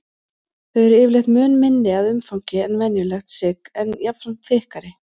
Þau eru yfirleitt mun minni að umfangi en venjulegt sigg en jafnframt þykkari.